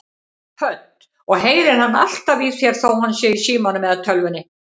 Hödd: Og heyrir hann alltaf í þér þó hann sé í símanum eða tölvunni?